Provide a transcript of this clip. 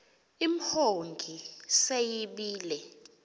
imhongi se yibile